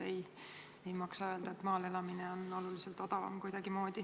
Ei maksa öelda, et maal elamine on kuidagi oluliselt odavam.